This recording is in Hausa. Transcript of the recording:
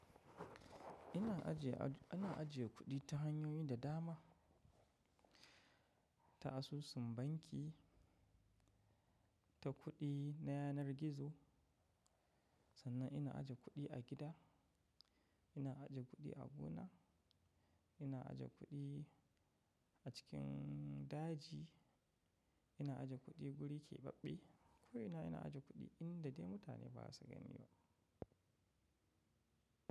Ina ajiye, ina ajiye kuɗi ta hanyoyi da dama. Ta asusun banki, ta kuɗi na yanar gizo. Sannan ina aje kuɗi a gida, ina aje kuɗi a gona, ina aje kuɗi a cikin daji, ina aje kuɗi guri kebaɓɓe. Ko ina, ina aje kuɗi inda dai mutane ba su gani ba.